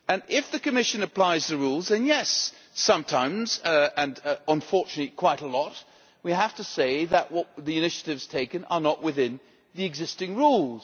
If the Commission applies the rules and yes, it happens unfortunately quite a lot we have to say that the initiatives taken are not within the existing rules.